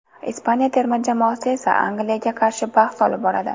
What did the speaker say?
Ispaniya terma jamoasi esa Angliyaga qarshi bahs olib boradi.